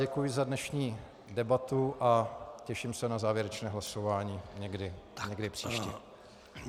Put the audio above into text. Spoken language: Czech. Děkuji za dnešní debatu a těším se na závěrečné hlasování někdy příště.